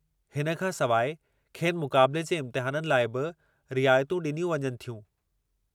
हिन खां सवाइ खेनि मुक़ाबिले जे इमतिहाननि लाइ बि रिआयतूं ॾिनियूं वञनि थियूं।